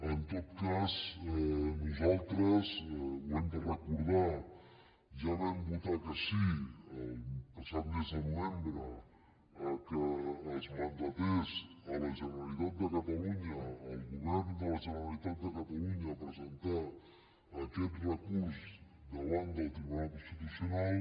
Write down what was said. en tot cas nosaltres ho hem de recordar ja vam votar que sí el passat mes de novembre que es mandatés a la generalitat de catalunya al govern de la generalitat de catalunya a presentar aquest recurs davant del tribunal constitucional